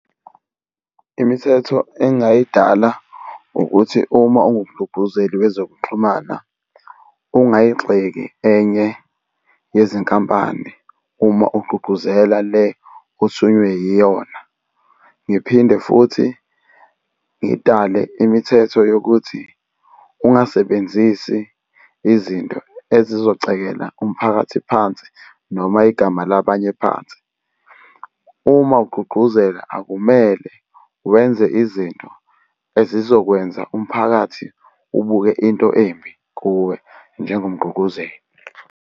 Imithetho engingayidala ukuthi uma ungumgqugquzeli wezokuxhumana ungayigxeki enye izinkampani uma ugqugquzela le osuke uyiyona. Ngiphinde futhi ngidale imithetho yokuthi ungasebenzisi izinto ezizocekela umphakathi phansi, noma igama labanye phansi. Uma ugqugquzela akumele wenze izinto ezizokwenza umphakathi ubuke into embi kuwe njengomgqugquzeli.